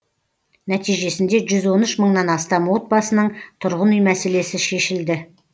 нәтижесінде жүз он үш мыңнан астам отбасының тұрғын үй мәселесі шешілді